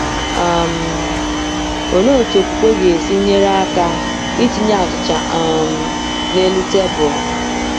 um Olee otú okwukwe ga-esi nyere aka itinye achịcha um n’elu tebụl?